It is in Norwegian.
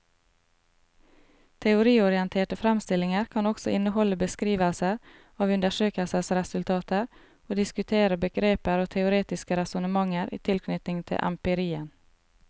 Teoriorienterte fremstillinger kan også inneholde beskrivelser av undersøkelsesresultater og diskutere begreper og teoretiske resonnementer i tilknytning til empirien.